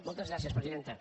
moltes gràcies presidenta